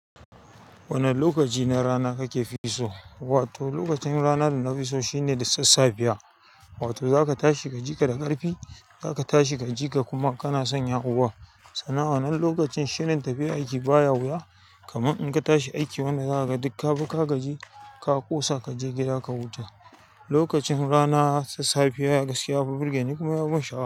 Wane lokaci na rana kake fiso? Wato lokacin ranar da na fi so shine da sassafiya. Wato zaka tashi ka jika da ƙarfi, ka tashi ka jika kuma kana son yawo. Sannan a wannan lokacin shirin tafiya aiki baya wuya. Kaman in ka tashi aiki wannan rana ka dukkabi kagaji, ka ƙosa ka je gida ka huta. Lokacin rana sassafiya gaskiya yafi birgeni kuma yafi ban sha'awa.